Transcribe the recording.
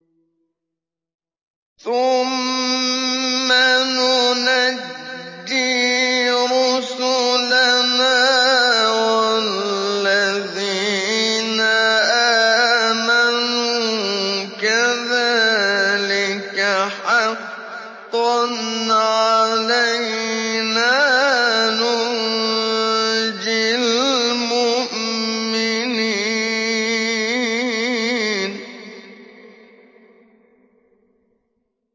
ثُمَّ نُنَجِّي رُسُلَنَا وَالَّذِينَ آمَنُوا ۚ كَذَٰلِكَ حَقًّا عَلَيْنَا نُنجِ الْمُؤْمِنِينَ